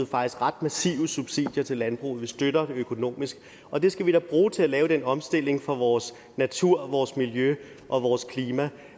faktisk ret massive subsidier til landbruget vi støtter det økonomisk og det skal vi da bruge til at lave den omstilling for vores natur og vores miljø og vores klima